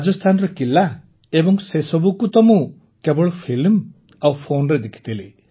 ରାଜସ୍ଥାନର କିଲ୍ଲା ଏବଂ ସେସବୁକୁ ମୁଁ ତ କେବଳ ଫିଲ୍ମ ଆଉ ଫୋନ୍ରେ ଦେଖିଥିଲି